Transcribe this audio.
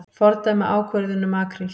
Fordæma ákvörðun um makríl